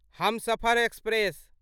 Humsafar express